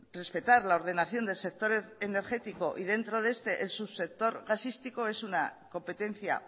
respetar la ordenación del sector energético y dentro de este el subsector gasístico es una competencia